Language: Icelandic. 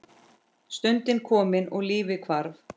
Stundin kom og lífið hvarf.